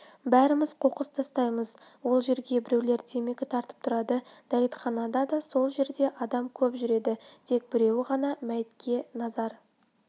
бәріміз қоқыс тастаймыз ол жерге біреулер темекі тартып тұрады дәретхана да сол жерде адам көп жүреді тек біреуі ғана мәйітке назар